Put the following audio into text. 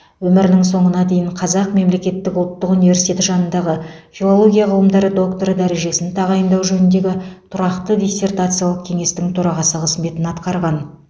өмірінің соңына дейін қазақ мемлекеттік ұлттық университеті жанындағы филология ғылымдары докторы дәрежесін тағайындау жөніндегі тұрақты диссертациялық кеңестің төрағасы қызметін атқарған